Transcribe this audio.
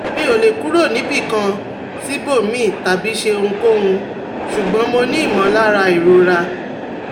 Mi o le kuro nibikan sibomiran tabi ṣe ohunkohun, ṣugbọn mo ni imọlara irora